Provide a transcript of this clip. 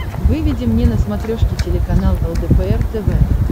выведи мне на смотрешке телеканал лдпр тв